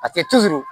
A tɛ